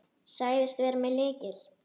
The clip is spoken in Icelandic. Sagðist vera með lykil.